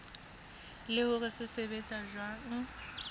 le hore se sebetsa jwang